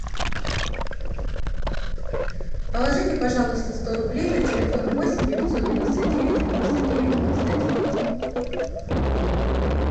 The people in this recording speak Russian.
положите пожалуйста сто рублей на телефон восемь девятьсот девяносто девять девяносто девять девяносто девять